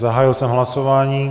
Zahájil jsem hlasování.